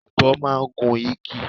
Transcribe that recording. Ọ̀bọ máa ń gun igi.